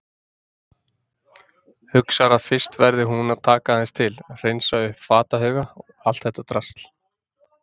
Hugsar að fyrst verði hún að taka aðeins til, hreinsa upp fatahauga, allt þetta drasl.